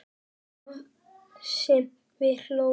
Það sem við hlógum.